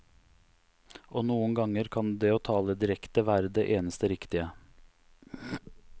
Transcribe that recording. Og noen ganger kan det å tale direkte være det eneste riktige.